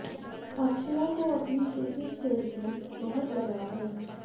अक्षरा को अपनी श्रुति से भी बहुत लगाव है